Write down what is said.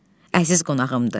Əziz qonağımdır.